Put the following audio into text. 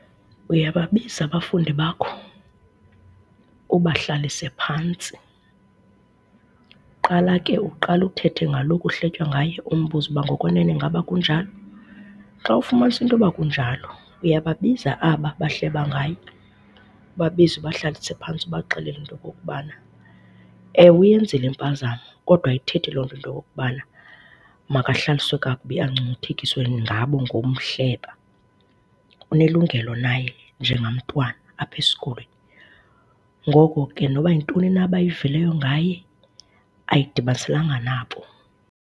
Uyababiza abafundi bakho, ubahlalise phantsi. Qala ke uqale uthethe ngalo kuhletywa ngaye umbuze uba ngokwenene ingaba kunjalo. Xa ufumanisa into yokuba kunjalo, uyababiza aba bahleba ngaye ubabize ubahlalise phantsi ubaxelele into okukubana, ewe, uyenzile impazamo kodwa ayithethi loo nto into okokuba makahlaliswe kakubi angcungcuthekiswe ngabo ngokumhleba. Unelungelo naye njengamntwana apha esikolweni. Ngoko ke noba yintoni na abayivileyo ngaye ayidibaniselanga nabo.